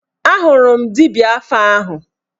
Ahụrụ m dibịa afa ahụ